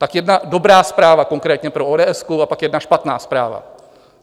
Tak jedna dobrá zpráva konkrétně pro ODS a pak jedna špatná zpráva.